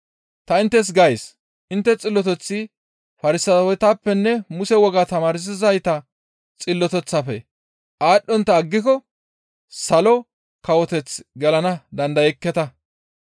Ta inttes gays, intte xilloteththi Farsaawetappenne Muse wogaa tamaarsizayta xilloteththafe aadhdhontta aggiko Salo Kawoteth gelana dandayekketa.